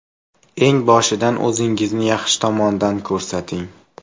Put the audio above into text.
Eng boshidan o‘zingizni yaxshi tomondan ko‘rsating.